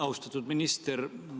Austatud minister!